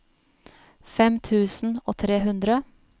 fem tusen og tre hundre